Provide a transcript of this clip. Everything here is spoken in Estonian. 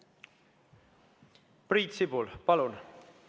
Priit Sibul, palun!